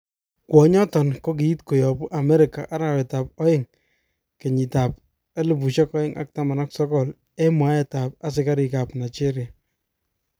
Kwonyoton kokiit koyobu America arawet tab aeng 2019 eng mwaet tab asikarik kap Nigeria.